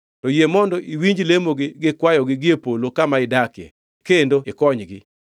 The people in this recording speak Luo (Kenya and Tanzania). to yie mondo iwinj lemogi gi kwayogi gie polo kama idakie kendo ikonygi.